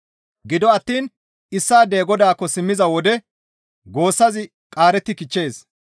Gido attiin issaadey Godaakko simmiza wode goossazi qaaretti kichchees.